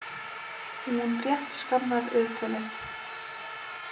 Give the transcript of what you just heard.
Hún rétt skannar viðtölin.